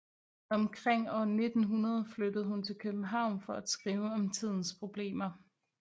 Omkring år 1900 flyttede hun til København for at skrive om tidens problemer